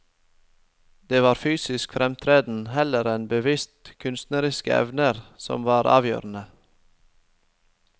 Det var fysisk fremtreden heller enn bevisste kunstneriske evner som var avgjørende.